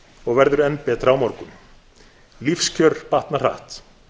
og verður enn betra á morgun lífskjör batna hratt